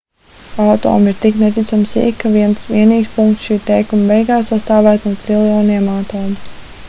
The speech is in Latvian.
atomi ir tik neticami sīki ka viens vienīgs punkts šī teikuma beigās sastāvētu no triljoniem atomu